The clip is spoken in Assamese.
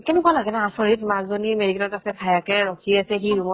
কেনেকুৱা লাগে ন আচৰিত মাকজনী medical ত আছে ভায়েকে ৰখি আছে সি room ত